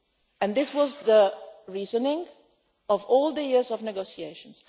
And this was the reasoning of all the years of negotiations.